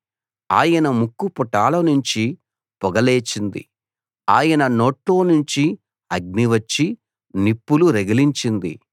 ఆయన ముక్కు పుటాలనుంచి పొగ లేచింది ఆయన నోట్లోనుంచి అగ్ని వచ్చి నిప్పులు రగిలించింది